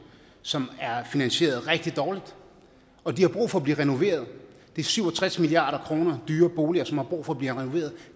som er finansieret rigtig dårligt og de har brug for at blive renoveret det er syv og tres milliard kroner dyre boliger som har brug for at blive renoveret